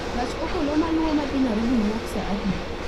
gach okolo maluwo ma dhi Nairobi wuok saa adi?